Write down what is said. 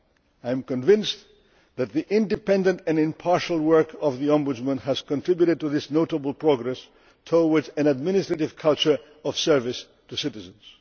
I am convinced that the independent and impartial work of the Ombudsman has contributed to this notable progress towards an administration culture of service to citizens.